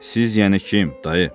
Siz, yəni kim, dayı?